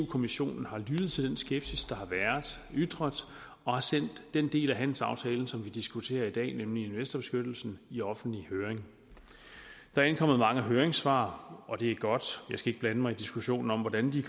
kommissionen har lyttet til den skepsis der har været ytret og har sendt den del af handelsaftalen som vi diskuterer i dag nemlig investorbeskyttelsen i offentlig høring der er indkommet mange høringssvar og det er godt jeg skal ikke blande mig i diskussionen om hvordan de er